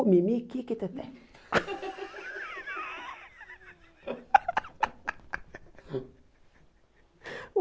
Mimi, Kiki e Teté.